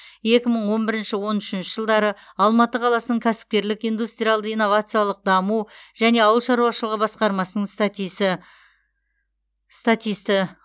екі мың он бірінші он үшінші жылдары алматы қаласының кәсіпкерлік индустриалды инновациялық даму және ауыл шаруашылығы басқармасының статисті